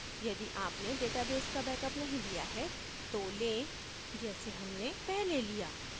यदि आपने database का बैकअप नहीं लिया है तो लें जैसे हमने पहले लिया